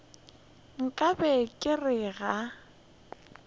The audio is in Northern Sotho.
nka be ke re ga